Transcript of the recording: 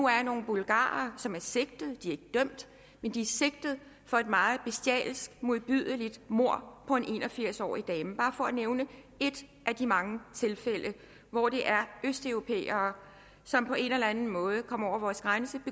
er nogle bulgarere som er sigtet de er ikke dømt men de er sigtet for et meget bestialsk modbydeligt mord på en en og firs årig dame bare for at nævne et af de mange tilfælde hvor det er østeuropæere som på en eller anden måde kommer over vores grænse